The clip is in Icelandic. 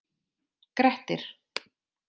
Grettir